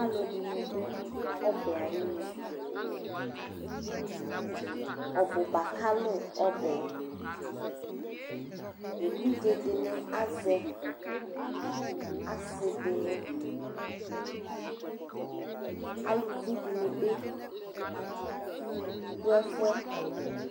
Alu ɛdini du ɔbɛ ayi nu ɔbuba kalu ɔbɛ évidzé dini asɛ ɔsi dini aluvi dini bi du ɛfɛ